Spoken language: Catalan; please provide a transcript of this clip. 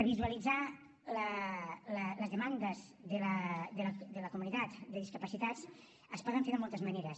visualitzar les demandes de la comunitat de discapacitats es pot fer de moltes maneres